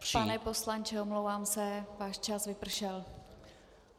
Pane poslanče, omlouvám se, váš čas vypršel.